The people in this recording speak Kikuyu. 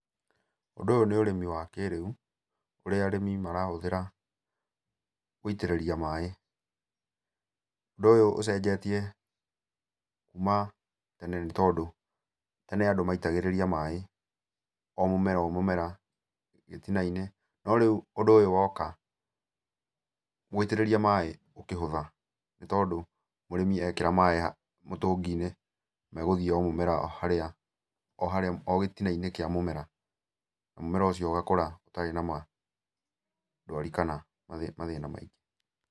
Ũndũ ũyũ nĩ ũrĩmi wa kĩrĩu, ũrĩa arĩmi marahũthĩra gũitĩrĩria maĩ. Ũndũ ũyũ ũcenjetie kuma tene nĩtondũ, tene andũ maitagĩrĩria maĩ o mũmera o mũmera gĩtina-inĩ, no rĩu, ũndũ ũyũ woka, gũitĩrĩria maĩ gũkĩhũtha, nĩtondũ mũrĩmi ekĩra maĩ mũtũngi-inĩ, me gũthiĩ o mũmera harĩa, o harĩa, o gĩtina-inĩ kĩa mũmera, na mũmera ũcio ũgakũra ũtarĩ na ma ndwari kana mathĩna maingĩ.